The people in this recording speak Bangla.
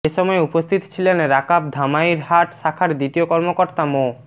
এ সময় উপস্থিত ছিলেন রাকাব ধামইরহাট শাখার দ্বিতীয় কর্মকর্তা মো